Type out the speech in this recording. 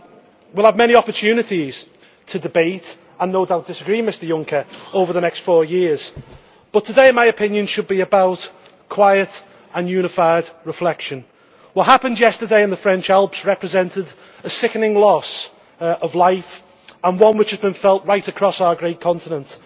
We will have many opportunities to debate and no doubt disagree, Mr Juncker, over the next four years, but today my opinion should be about quiet and unified reflection. What happened yesterday in the French Alps represented a sickening loss of life and one which has been felt right across our great continent.